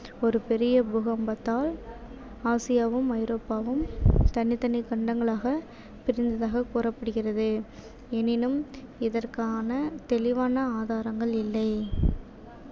ஒரு பெரிய பூகம்பத்தால் ஆசியாவும் ஐரோப்பாவும் தனித்தனி கண்டங்களாக பிரிந்ததாக கூறப்படுகிறது எனினும் இதற்கான தெளிவான ஆதாரங்கள் இல்லை